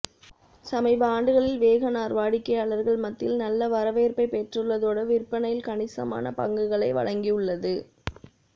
சமீப ஆண்டுகளில் வேகன்ஆர் வாடிக்கையாளர்கள் மத்தியில் நல்ல வரவேற்பை பெற்றுள்ளதோடு விற்பனையில் கணிசமான பங்குகளை வழங்கியுள்ளது